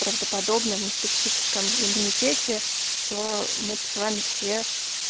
правдоподобно в неспецифическом иммунитете то мы б с вами все